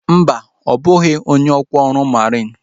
Mba, ọ bụghị onye ọkwa ọrụ mariin